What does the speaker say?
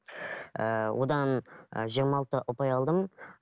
ііі одан і жиырма алты ұпай алдым